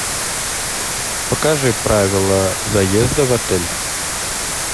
покажи правила заезда в отель